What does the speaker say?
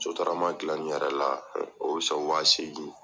Sotarama dilanni yɛrɛ la, o sɔn wa seegin